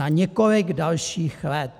- Na několik dalších let!